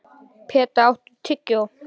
Peta, áttu tyggjó?